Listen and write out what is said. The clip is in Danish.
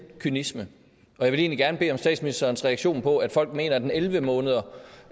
kynisme jeg vil egentlig gerne bede om statsministerens reaktion på at folk mener at et elleve måneder